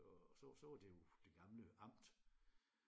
Og så så var det jo det gamle amt